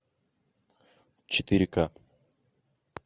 четыре ка